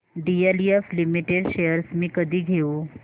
DLF limited shares मी कधी घेऊ